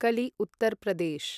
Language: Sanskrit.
कलि उत्तर् प्रदेश्